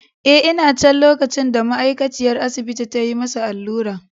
Eh, ina can lokacin da ma’aikaciyar asibiti ta yi masa allura.